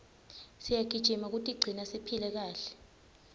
siyagijima kutigcina siphile kahle